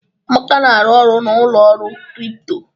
Amaka na-arụ ọrụ na ụlọ ọrụ kripto.